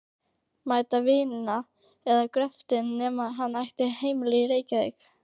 mætti vinna við gröftinn nema hann ætti heimili í Reykjavík.